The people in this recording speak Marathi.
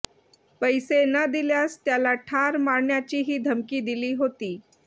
पैसे न दिल्यास त्याला ठार मारण्याचीही धमकी दिली होती